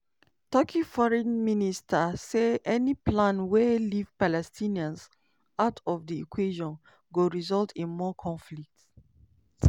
turkeyforeign minister say any plan wey leave palestinians "out of di equation" go result in more conflict.